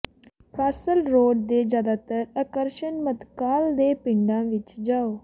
castle Road ਦੇ ਜ਼ਿਆਦਾਤਰ ਆਕਰਸ਼ਣ ਮੱਧਕਾਲ ਦੇ ਪਿੰਡਾਂ ਵਿੱਚ ਜਾਓ